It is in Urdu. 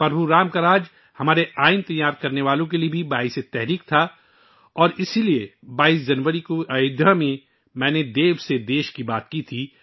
پربھو رام کی حکم رانی ہمارے دستور سازوں کے لیے بھی ترغیب کا ذریعہ تھی اور یہی وجہ ہے کہ 22 جنوری کو ایودھیا میں میں نے 'دیو سے دیش' کے بارے میں بات کی تھی